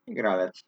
Igralec.